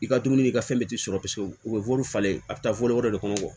I ka dumuni i ka fɛn bɛɛ tɛ sɔrɔ paseke u bɛ wɔri falen a bɛ taa fɔli wɛrɛ de kɔnɔ